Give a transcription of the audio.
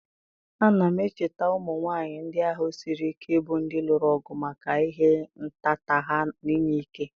a na m echeta ụmụ nwanyị ndị ahụ siri ike bụ ndị lụrụ ọgụ maka ịha nhatanha na inye ike?